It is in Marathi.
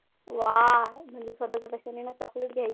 वा म्हणजे स्वतःचे पैशानी ना chocolate घ्यायचे.